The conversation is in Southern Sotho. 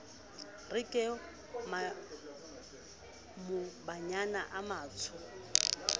re ke maobanyana a matsho